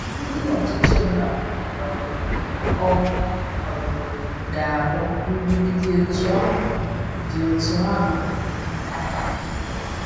Ndị ọchịchị mba um ọ̀ um ga-ahụ mbibi dị otú ahụ? dị otú ahụ?